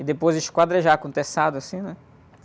E depois esquadrejar com o teçado assim, né?